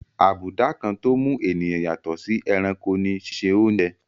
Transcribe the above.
Abùdá kan tó mú ènìyàn yàtọ̀ sí ẹranko ní síse oúnje.